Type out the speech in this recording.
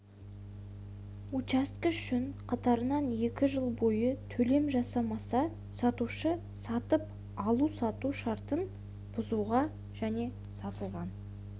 учаскесі үшін қатарынан екі жыл бойы төлем жасамаса сатушы сатып алу-сату шартын бұзуға және сатылған